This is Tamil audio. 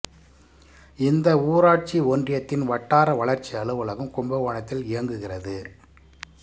இந்த ஊராட்சி ஒன்றியத்தின் வட்டார வளர்ச்சி அலுவலகம் கும்பகோணத்தில் இயங்குகிறது